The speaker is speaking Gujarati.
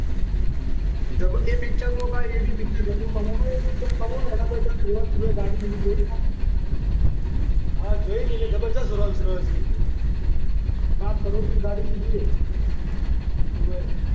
એ પિક્ચર ભાઈ એવી પિક્ચર જબરુ કમાણી એ પિક્ચર પછી રોલ્સ રોયલ ની ગાડી લીધી. ગાડી જોઈ ભાઈ? હા જોઈને જબરજસ્ત રોલ્સ રોયલ લીધી પાંચ કરોડની ગાડી લીધી. ઓવે.